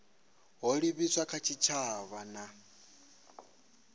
ho livhiswaho kha tshitshavha na